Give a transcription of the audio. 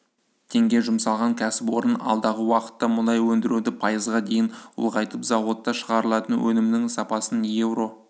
теңге жұмсалған кәсіпорын алдағы уақытта мұнай өндіруді пайызға дейін ұлғайтып зауытта шығарылатын өнімнің сапасын еуро